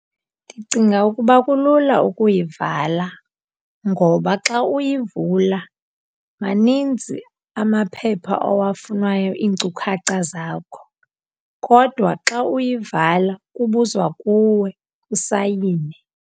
Ndicinga ukuba kulula ukuyivala ngoba xa uyivula maninzi amaphepha owafunwayo iinkcukacha zakho, kodwa xa uyivala kubuzwa kuwe, usayine.